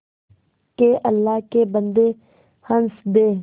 के अल्लाह के बन्दे हंस दे